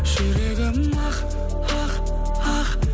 жүрегім ақ ақ ақ